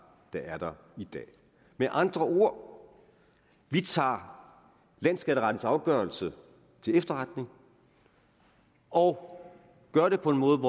der er der i dag med andre ord vi tager landsskatterettens afgørelse til efterretning og gør det på den måde